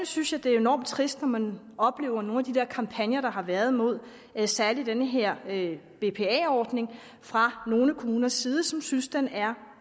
synes jeg det er enormt trist når man oplever nogle af de kampagner der har været mod særlig den her bpa ordning fra nogle kommuners side som synes den er